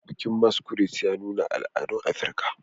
Bikin Masquerade ya nuna al'adun Afirka